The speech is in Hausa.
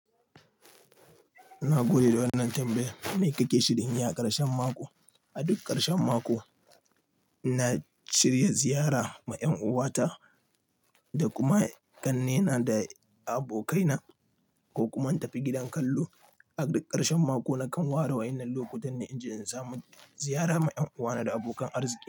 Na gode da wannan tambaya. Mai kake shirin, yi aƙarshen mako, a duk ƙarshen mako na shirya ziyara ma en uwa ta da kuma kanne na da abokai na ko kuma in tafi gidan kallo. A duk karshen mako nakan waro a wannan lokutan ne inji in samu ziyara ma en uwa na da abokan arziki.